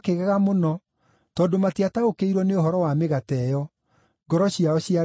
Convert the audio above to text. tondũ matiataũkĩirwo nĩ ũhoro wa mĩgate ĩyo; ngoro ciao ciarĩ o nyũmũ.